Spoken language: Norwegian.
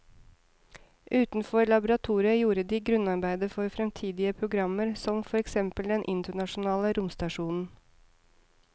Utenfor laboratoriet gjorde de grunnarbeidet for fremtidige programmer som for eksempel den internasjonale romstasjonen.